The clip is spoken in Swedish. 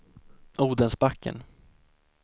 Odensbacken